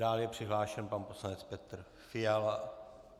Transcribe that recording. Dál je přihlášen pan poslanec Petr Fiala.